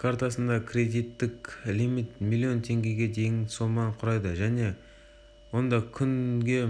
картасында кредиттік лимит млн теңгеге дейінгі соманы құрайды және онда күнге